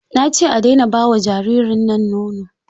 Na ce a daina ba wa jaririn nan nono!